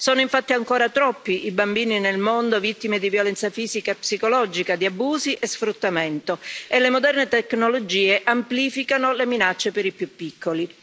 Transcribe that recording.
Sono infatti ancora troppi i bambini nel mondo vittime di violenza fisica e psicologica, di abusi e sfruttamento, e le moderne tecnologie amplificano le minacce per i più piccoli.